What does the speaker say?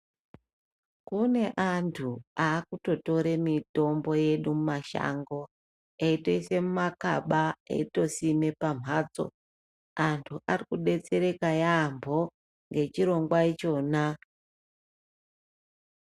Kune antu akutotore mitombo yedu mumashango eitoise mumakaba eitosime pamhatso. Antu arikudetsereka yaamho ngechirongwa ichona.